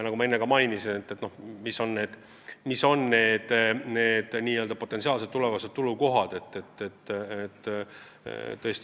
Ma enne ka märkisin, mis on potentsiaalsed tulevased tuluallikad.